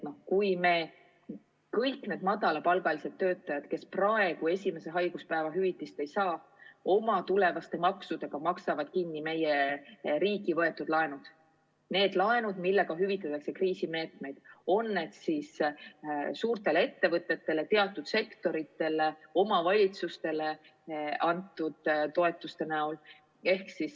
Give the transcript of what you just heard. Ka kõik need madalapalgalised töötajad, kes praegu esimese haiguspäeva hüvitist ei saa, maksavad oma tulevaste maksudega kinni meie riigi võetud laenud – need laenud, mille abil rakendatakse kriisimeetmeid, on need siis suurtele ettevõtetele, teatud sektoritele või omavalitsustele antud toetused.